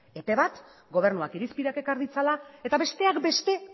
epe bat gobernuak irizpideak ekar ditzala eta besteak beste